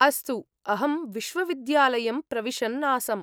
अस्तु, अहं विश्वविद्यालयं प्रविशन् आसम्।